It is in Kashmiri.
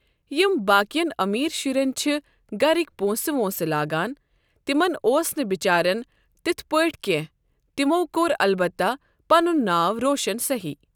یِم باقین امیر شُرٮ۪ن چھِ گرکۍ پۄنٛسہٕ وۄنٛسہٕ لاگان، تِمن اوس نہٕ بچارٮ۪ن تِتھ پٲٹھٮۍ کینٛہہ تِمو کوٚر البتہ پنُن ناو روشن صحیح۔